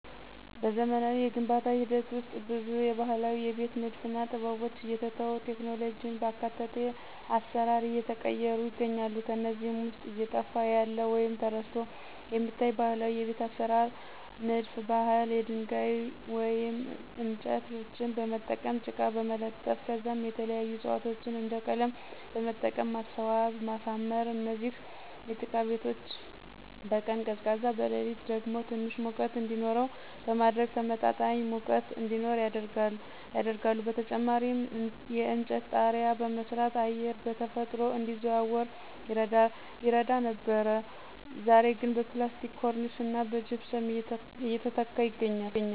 በዘመናዊ የግንባታ ሂደት ውስጥ ብዙ የባህላዊ የቤት ንድፍና ጥበቦች እየተተው ቴክኖሎጂን ባካተተ አሰራር እየተቀየሩ ይገኛሉ። ከነዚህም ውስጥ እየጠፋ ያለ ወይም ተረስቶ የሚታይ ባህላዊ የቤት አሰራር ንድፍ ባህል የድንጋይ ወይም እንጨቶችን በመጠቀም ጭቃ በመለጠፍ ከዛም የተለያዩ ዕፅዋቶችን እንደ ቀለም በመጠቀም ማስዋብና ማሳመር። እነዚህ የጭቃ ቤቶች በቀን ቀዝቃዛ በሌሊት ደግሞ ትንሽ ሙቀት እንዲኖረው በማድረግ ተመጣጣኝ ሙቀት እዲኖር ያደርጋሉ። በተጨማሪም የእንጨት ጣሪያ በመስራት አየር በተፈጥሮ እንዲዘዋወር ይረዳ ነበር ዛሬ ግን በፕላስቲክ ኮርኒስና በጅፕሰም እየተተካ ይገኛል።